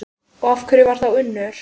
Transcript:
Og hver var þá Unnur?